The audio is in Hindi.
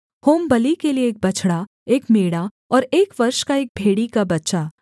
होमबलि के लिये एक बछड़ा एक मेढ़ा और एक वर्ष का एक भेड़ी का बच्चा